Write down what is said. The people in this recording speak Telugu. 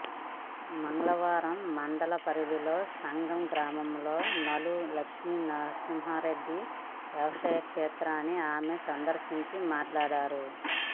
మంగళవారం మండల పరిధిలోని సంగెం గ్రామంలో నల్లు లక్ష్మీ నర్సింహారెడ్డి వ్యవసాయక్షేత్రాన్ని ఆమె సందర్శించి మాట్లాడారు